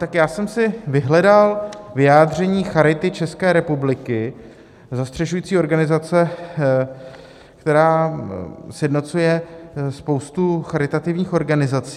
Tak já jsem si vyhledal vyjádření Charity České republiky, zastřešující organizace, která sjednocuje spoustu charitativních organizací.